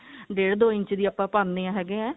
ਡੇਢ ਦੋ ਇੰਚ ਦੀ ਆਪਾਂ ਪਾਨੇ ਹੈਗੇ ਹੈ